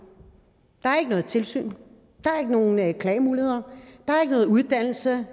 der ikke noget tilsyn der ikke nogen klagemuligheder der er ikke noget uddannelse